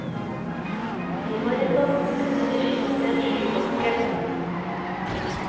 I horisonten kunne de skimte en skybanke.